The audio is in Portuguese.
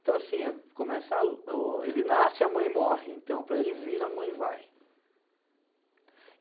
Então assim, começa o o, ele nasce e a mãe morre, então para ele vir, a mãe vai.